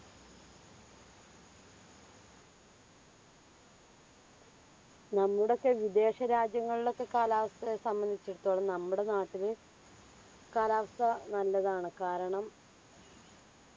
നമ്മുടെ ഒക്കെ വിദേശ രാജ്യങ്ങളിലെയൊക്കെ കാലാവസ്ഥ സംബന്ധിച്ചിടട്ടോളം നമ്മുടെ നാട്ടില് കാലാവസ്ഥ നല്ലതാണ് കാരണം